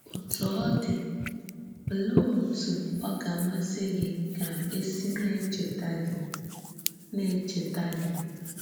Ótú ọ dị́, òlèé òtú ọ gà-àmàsị gị ka e sị na-echètà gị? na-echètà gị?